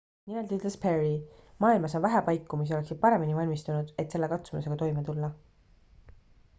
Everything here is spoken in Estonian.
"nimelt ültes perry: "maailmas on vähe paiku mis oleksid paremini valmistunud et selle katsumusega toime tulla.""